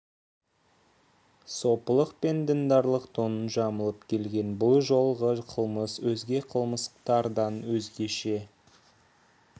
сопылық пен діндарлық тонын жамылып келген бұл жолғы қылмыс өзге қылмыстардан өзгеше